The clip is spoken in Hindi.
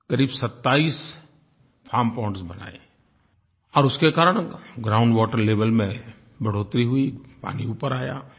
करीब 27 फार्म पोंड्स बनाए और उसके कारण ग्राउंड वाटर लेवेल में बढ़ोत्तरी हुई पानी ऊपर आया